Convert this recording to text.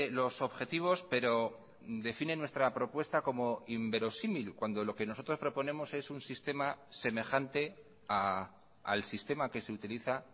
los objetivos pero define nuestra propuesta como inverosímil cuando lo que nosotros proponemos es un sistema semejante al sistema que se utiliza